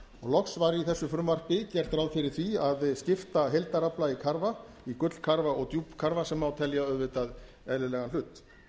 loks var í þessu frumvarpi gert ráð fyrir því að skipta heildarafla í karfa í gullkarfa og djúpkarfa sem má telja auðvitað eðlilegan hlut